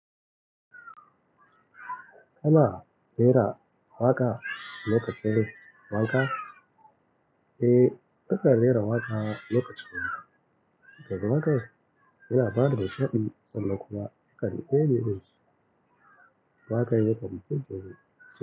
Kana rera waƙa lokacin wanka? Eh, nakan rera waƙa lokacin wanka. Saboda waƙa yana bani nishaɗi sannan kuma nakan ka fi koyi wani su. Waƙan yakan fiddani.